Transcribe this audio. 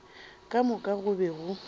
ka moka go be go